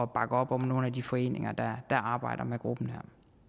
bakke op om nogle af de foreninger der arbejder med gruppen